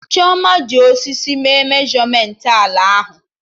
Chioma ji osisi mee meshọmentị ala ahụ